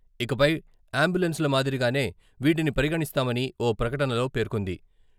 ఇకపై అంబులెన్సుల మాదిరిగానే వీటిని పరిగణిస్తామని ఓ ప్రకటనలో పేర్కొంది.